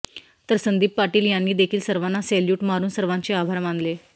तर संदीप पाटील यांनी देखील सर्वांना सेल्युट मारून सर्वांचे आभार मानले